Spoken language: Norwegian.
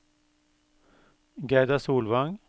Gerda Solvang